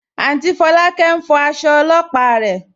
Áùntý Fọ̀lákẹ̀ n fọ̀ àṣọ̀ ọ̀lọ́pà rẹ.